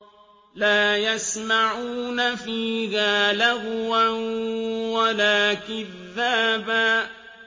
لَّا يَسْمَعُونَ فِيهَا لَغْوًا وَلَا كِذَّابًا